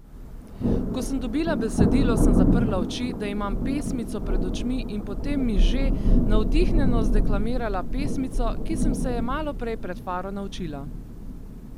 Ko sem dobila besedo, sem zaprla oči, da imam pesmico pred očmi in potem miže, navdihnjeno zdeklamirala pesmico, ki sem se je maloprej pred faro naučila.